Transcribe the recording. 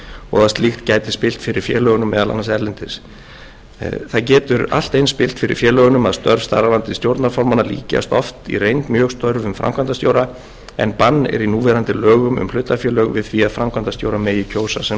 og að slíkt gæti spillt fyrir félögunum meðal annars erlendis getur allt eins spillt fyrir félögum að störf starfandi stjórnarformanna líkjast oft í reynd mjög störfum framkvæmdastjóra en bann er í lögum um hlutafélög við því að framkvæmdastjóra megi kjósa sem